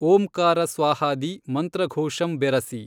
ಓಂಕಾರ ಸ್ವಾಹಾದಿ ಮಂತ್ರಘೋಷಂ ಬೆರಸಿ